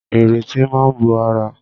Ìrètí máa bó ara.